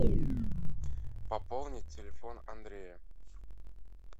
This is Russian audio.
пополнить телефон андрея